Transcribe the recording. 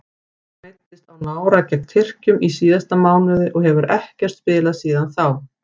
Alfreð meiddist á nára gegn Tyrkjum í síðasta mánuði og hefur ekkert spilað síðan þá.